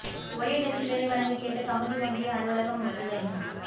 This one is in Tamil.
ஒரே இடத்தில் வேலை வழங்க கேட்டு கமுதி ஒன்றிய அலுவலகம் முற்றுகை